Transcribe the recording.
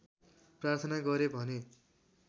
प्रार्थना गरे भने